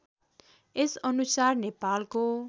यस अनुसार नेपालको